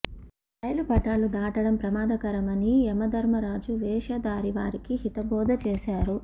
రైలు పట్టాలు దాటడం ప్రమాదకరని యమధర్మరాజు వేషధారి వారికి హితబోధ చేశారు